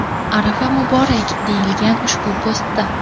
Arafa muborak!” deyilgan ushbu postda .